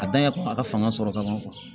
A dan ye a ka fanga sɔrɔ ka ban